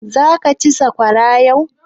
Zaka ci sakwara yau?